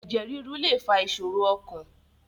Ẹ̀jẹ̀ rírú lè fa ìṣòro ọkàn